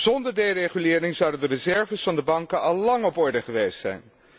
Zonder deregulering zouden de reserves van de banken al lang op orde geweest zijn.